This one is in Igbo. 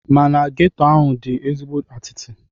Mana geto ahụ dị ezigbo atịtị.